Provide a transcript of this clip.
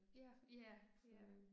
Ja, ja, ja